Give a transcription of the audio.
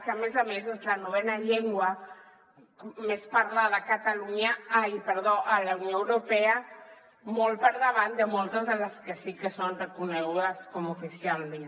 que a més a més és la novena llengua més parlada a la unió europea molt per davant de moltes de les que sí que són reconegudes oficialment